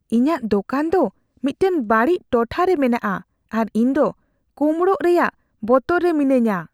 ᱤᱧᱟᱹᱜ ᱫᱳᱠᱟᱱ ᱫᱚ ᱢᱤᱫᱴᱟᱝ ᱵᱟᱹᱲᱤᱡ ᱴᱚᱴᱷᱟ ᱨᱮ ᱢᱮᱱᱟᱜᱼᱟ ᱟᱨ ᱤᱧᱫᱚ ᱠᱳᱢᱲᱳᱜ ᱨᱮᱭᱟᱜ ᱵᱚᱛᱚᱨ ᱨᱮ ᱢᱤᱱᱟᱹᱧᱟ ᱾